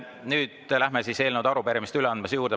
Nüüd läheme eelnõude ja arupärimiste üleandmise juurde.